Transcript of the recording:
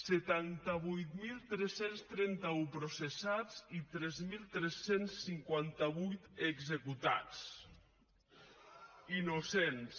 setanta vuit mil tres cents trenta un processats i tres mil tres cents i cinquanta vuit executats innocents